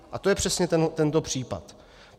A to je přesně tento případ.